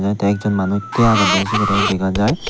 te ek jon manuj tia agede sibereyo dega jai.